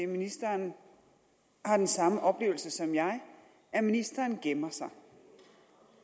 ministeren har den samme oplevelse som jeg at ministeren gemmer sig